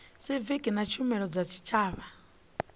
siviki na tshumelo dza tshitshavha